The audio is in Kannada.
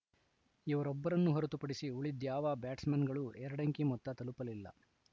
ಇವರೊಬ್ಬರನ್ನು ಹೊರತುಪಡಿಸಿ ಉಳಿದ್ಯಾವ ಬ್ಯಾಟ್ಸ್‌ಮನ್‌ಗಳು ಎರಡಂಕಿ ಮೊತ್ತ ತಲುಪಲಿಲ್ಲ